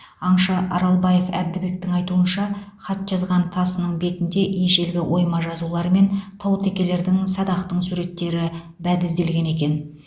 аңшы аралбаев әбдібектің айтуынша хат жазған тасының бетінде ежелгі ойма жазулар мен таутекелердің садақтың суреттері бәдізделген екен